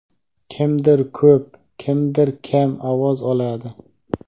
Kimdir ko‘p, kimdir kam ovoz oladi.